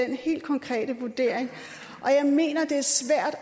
den helt konkrete vurdering jeg mener det er svært